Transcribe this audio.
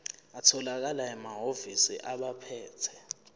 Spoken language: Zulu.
atholakala emahhovisi abaphethe